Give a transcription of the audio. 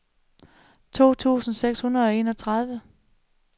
tolv tusind seks hundrede og enogtredive